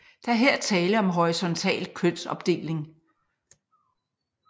Der er her tale om horisontal kønsopdeling